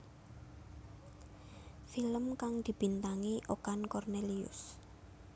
Film kang dibintangi Okan Cornelius